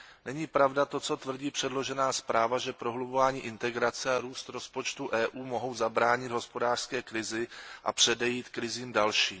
Není pravda to, co tvrdí předložená zpráva, že prohlubování integrace a růst rozpočtu EU mohou zabránit hospodářské krizi a předejít krizím dalším.